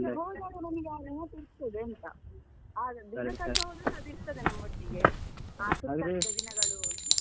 ಹೋದಾಗ ನಮಿಗೆ ಆ ನೆನಪು ಇರ್ತದೆ ಅಂತ ಆ ದಿನ ಕಳ್ದೊದ್ರು ಅದು ಇರ್ತದೆ ನಮ್ಮೊಟ್ಟಿಗೆ ಆ ಸುತ್ತಾಡಿದ ದಿನಗಳು ಅಂತ